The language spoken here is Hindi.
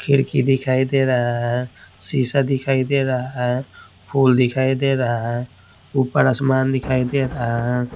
खिड़की दिखाई दे रहा है शीशा दिखाई दे रहा है फूल दिखाई दे रहा है ऊपर आसमान दिखाई दे रहा है।